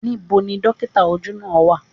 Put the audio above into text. Níbo ni dókítà ojú náà á wà.?